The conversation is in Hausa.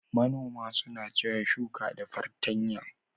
Manoma suna cire shuka da fartanya